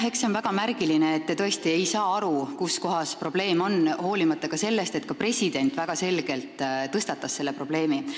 Eks see ole väga märgiline, et te tõesti ei saa aru, kus kohas probleem on, hoolimata sellest, et ka president väga selgelt tõstatas selle probleemi.